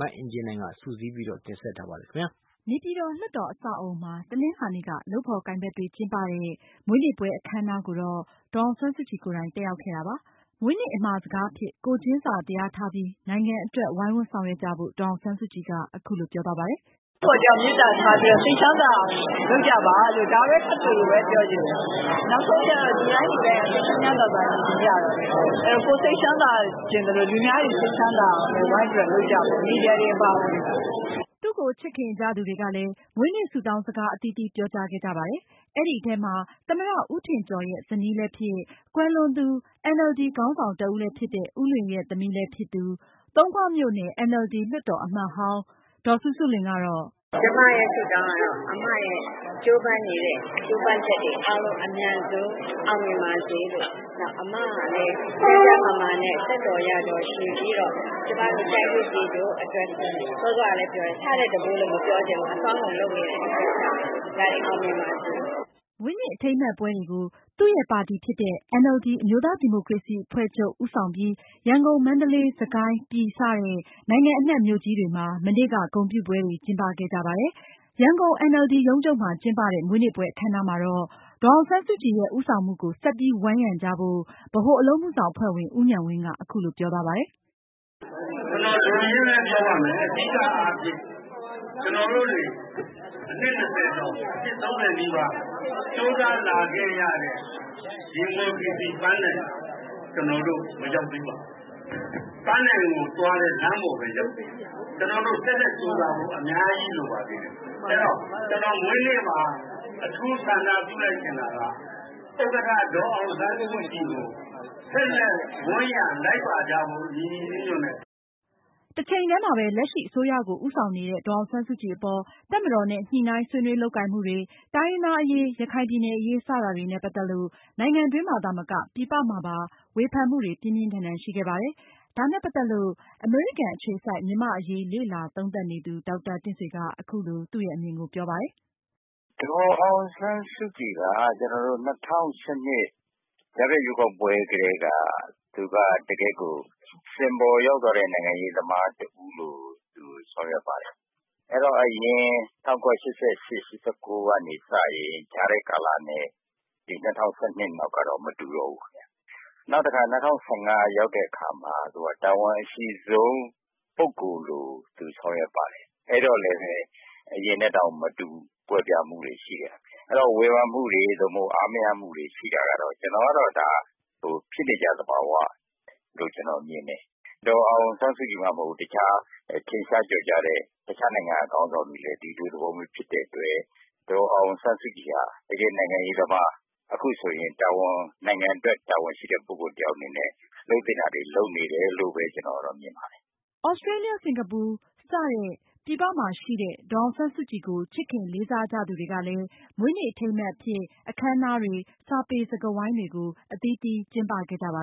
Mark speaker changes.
Speaker 1: မအင်ကြင်းနိုင်က အပြည့်အစုံကို တင်ဆက်ထားပါ
Speaker 2: တယ်။
Speaker 3: နေပြည်တော် လွှတ်တော်အဆောက်အအုံမှာ တနင်္လာနေ့က လုပ်ဖေါ်ကိုင်ဖက်တွေ ကျင်းပတဲ့ မွေးနေ့ပွဲအခမ်းအနားကိုတော့ ဒေါ်အောင်ဆန်းစုကြည်ကိုယ်တိုင် တက်ရောက်ခဲ့တာပါ။ မွေးနေ့အမှာစကားအဖြစ် ကိုယ်ချင်းစာတရားထားပြီး နိုင်ငံအတွက် ဝိုင်းဝန်းဆောင်ရွက်ကြဖို့ ဒေါ်အောင်ဆန်းစုကြည်က အခုလို ပြောသွားပါတယ်။ “တယောက်နဲ့ တယောက်မေတ္တာထားပြီးတော့ စိတ်ချမ်းသာအော
Speaker 2: င်လုပ်ကြပါလို့ ဒါပဲထပ်ခါထပ်ခါပြောချင်တယ်။ နောက်ဆုံးကျတော့ လူတိုင်းလူတိုင်းက စိတ်ချမ်းချမ်းသာသာနေချင်ကြတာပဲ ၊ အဲဒီတော့ ကိုယ်စိတ်ချမ်းသာချင်သလို လူများတွေ စိတ်ချမ်းသာအောင်လည်း ဝိုင်းပြီးတော့လုပ်ကြပေါ့ မီဒီယာတွေ အပါအဝင်။”
Speaker 3: သူ့ကိုချစ်ခင်ကြသူတွေကလည်း မွေးနေ့ဆုတောင်းစကား အသီးသီးပြော ကြားခဲ့ကြပါတယ်။ အဲဒီထဲမှာ သမ္မတ ဦးထင်ကျော်ရဲ့ ဇနီးလည်းဖြစ်၊ ကွယ်လွန်သူ NLD ခေါင်းဆောင်တဦးလည်းဖြစ်တဲ့ ဦးလွင်ရဲ့ သမီးလည်းဖြစ်၊ သုံးခွမြို့နယ် NLD လွှတ်တော်အမတ်ဟောင်းလည်းဖြစ်တဲ့ ဒေါ်စုစုလွင်ကတော့ “ကျမ
Speaker 2: ရဲ့ဆုတောင်းကတော့ အမရဲ့ ကြိုးပမ်းနေတဲ့ ကြိုးပမ်းချက်တွေအားလုံး အမြန်ဆုံးအောင်မြင်ပါစေလို့၊ နောက်အမလည်း ကျန်းကျန်းမာမာနဲ့ သက်တော်ရာတော်ရှည်ပြီးတော့ ကျမတို့ တိုင်းကျိုးပြည်ကျိုးအတွက်ကို စောစောကလည်းပြောတယ် ဆထက်တပိုးလို့တော့မပြောချင်ဘူး အစွမ်းကုန်လုပ်နေတဲ့အတွက်ကြောင့် ဒါတွေအောင်မြင်ပါစေ။”
Speaker 3: မွေးနေ့အထိမ်းအမှတ်ပွဲတွေကို သူရဲ့ပါတီဖြစ်တဲ့ အမျိုးသားဒီမိုကရေစီအဖွဲ့ချုပ် ဦးဆောင်ပြီး ရန်ကုန်၊ မန္တလေး၊ စစ်ကိုင်း၊ ပြည် စတဲ့ နိုင်ငံအနှံမြို့ကြီးတွေမှာ မနေ့က ဂုဏ်ပြုကျင်းပခဲ့ကြပါတယ်။ ရန်ကုန် NLD ရုံးချုပ်မှာကျင်းပတဲ့ မွေးနေ့ပွဲအခမ်းအနားမှာတော့ ဒေါ်အောင်ဆန်းစုကြည်ရဲ့ ဦးဆောင်မှုကို ဆက်ပြီး ဝိုင်းရံကြဖို့ ဗဟိုအလုပ်အမှုဆောင်အဖွဲ့ဝင် ဦးဉာဏ်ဝင်းက အခုလိုပြောသွားပါတယ်။ “က
Speaker 2: ျနော်လိုရင်းပဲပြောပါမယ် အဓိကအားဖြင့် ကျနော်တို့တွေ အနှစ် ၂၀ ကျော် ၃၀ နီးပါး ကြိုးစားလာခဲ့ရတဲ့ ဒီမိုကရေစီပန်းတိုင်ကို ကျနော်တို့ မရောက်သေးပါဘူး။ ပန်းတိုင်ကိုသွားတဲ့ လမ်းပေါ်ပဲ ရောက်သေးတယ်၊ ကျနော်တို့ ဆက်လက်ကြိုးစားဖို့အများကြီးလိုသေးတယ် ။ အဲဒီတော့ ကျနော်မွေးနေ့မှာ အထူးဆန္ဒပြုချင်တာက ဥက္ကဋ္ဌ ဒေါ်အောင်ဆန်းစုကြည်ကို ဆက်လက် ဝန်းရံလိုက်ပါကြဖို့ ညီညီညွှတ်ညွှတ်နဲ့ ။”
Speaker 3: တချိန်တည်းမှာပဲ လက်ရှိ အစိုးရကို ဦးဆောင်နေတဲ့ ဒေါ်အောင်ဆန်းစုကြည်အပေါ် တပ်မတော်နဲ့ ညှိုနှိုင်းဆွေးနွေးလုပ်ကိုင်မှုတွေ၊ တိုင်းရင်းသားအရေး၊ ရခိုင်ပြည်နယ်အရေး စတာတွေနဲ့ ပတ်သက်လို့ နိုင်ငံတွင်းမှာသာမက ပြည်ပမှာပါ ဝေဖန်မှုတွေ ပြင်းပြင်းထန်ထန်ရှိခဲ့ပါတယ်။ ဒါနဲ့ပတ်သက်လို့ အမေရိကန်အခြေစိုက် မြန်မာ့အရေးလေ့လာသုံးသပ်နေသူ ဒေါက်တာတင့်ဆွေက အခုလို သူ့ရဲ့အမြင်ကိုပြောပါတယ်။ “ဒ
Speaker 1: ေါ်အောင်ဆန်းစုကြည်က ကျနော်တို့ ၂၀၁၂ ကြားဖြတ်ရွေးကောက်ပွဲကတည်းက သူက စင်ပေါ်ရောက်သွားတဲ့ နိုင်ငံရေးသမားတဦးလို သူကဆောင်ရွက်ပါတယ်။ အဲဒီတော့ အရင် ၁၉၈၈-၈၉ ကနေစရင် ကြားထဲကာလနဲ့ ၂၀၁၂ နောက်က တော့ မတူတော့ဘူးခင်ဗျ။ နောက်တခါ ၂၀၁၅ ရောက်တဲ့အခါမှာ သူက တာဝန်အရှိဆုံး ပုဂ္ဂိုလ်လိုသူ ဆောင်ရွက်ပါတယ်။ အဲဒီတော့လည်း အရင်နဲ့တောင်မတူဘူး ကွဲပြားမှုတွေရှိခဲ့တယ်။ အဲဒီတော့ ဝေဖန်မှုတွေ အားမရမှုတွေ ရှိတာကတော့ ကျနော်ကတော့ ဒါက ဖြစ်နေကြသဘာဝလို့ ကျနော်မြင်တယ်၊ ဒေါ်အောင်ဆန်းစုကြည် မှမဟုတ်ပါဘူး တခြားထင်ရှားကျော်ကြားတဲ့ တခြားနိုင်ငံက ခေါင်းဆောင်တွေလည်း ဒီလိုသဘောမျိုးဖြစ်တဲ့အတွက် ဒေါ်အောင်ဆန်းစုကြည်က တကယ့်နိုင်ငံရေးသမား ၊ အခုဆိုရင် နိုင်ငံအတွက်တာဝန်ရှိတဲ့ ပုဂ္ဂိုလ်တယောက် အနေနဲ့ လုပ်သင့်တာတွေ လုပ်နေတယ်လို့ ကျနော်မြင်ပါတယ်
Speaker 3: ။” သြစတြေးလျ၊ စင်္ကာပူစတဲ့ ပြည်ပမှာရှိတဲ့ ဒေါ်အောင်ဆန်းစုကြည်ကို ချစ်ခင်လေးစားကြသူတွေကလည်း မွေးနေ့အထိမ်း အမှတ်အဖြစ် အခမ်းအနားတွေ၊ စာပေစကားဝိုင်း တွေ အသီးသီးကျင်းပခဲ့ကြပါ